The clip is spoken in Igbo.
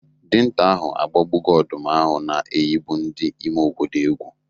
Dinta ahụ agbagbogo ọdụm ahụ na-eyibu ndị ime obodo egwu.